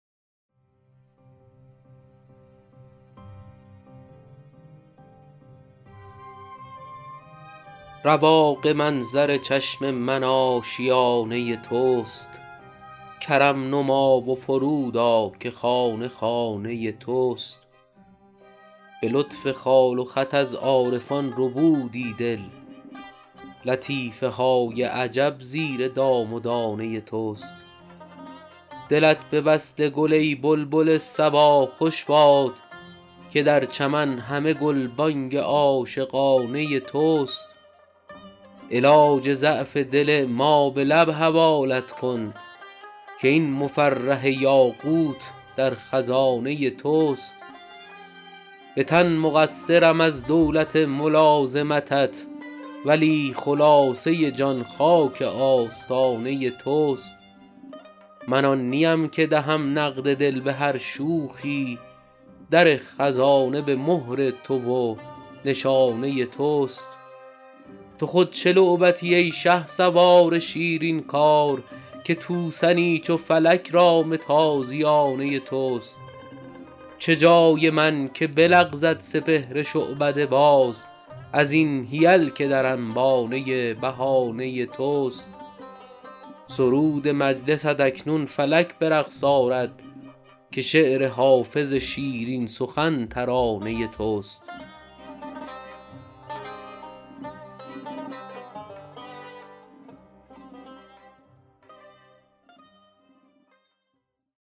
رواق منظر چشم من آشیانه توست کرم نما و فرود آ که خانه خانه توست به لطف خال و خط از عارفان ربودی دل لطیفه های عجب زیر دام و دانه توست دلت به وصل گل ای بلبل صبا خوش باد که در چمن همه گلبانگ عاشقانه توست علاج ضعف دل ما به لب حوالت کن که این مفرح یاقوت در خزانه توست به تن مقصرم از دولت ملازمتت ولی خلاصه جان خاک آستانه توست من آن نیم که دهم نقد دل به هر شوخی در خزانه به مهر تو و نشانه توست تو خود چه لعبتی ای شهسوار شیرین کار که توسنی چو فلک رام تازیانه توست چه جای من که بلغزد سپهر شعبده باز از این حیل که در انبانه بهانه توست سرود مجلست اکنون فلک به رقص آرد که شعر حافظ شیرین سخن ترانه توست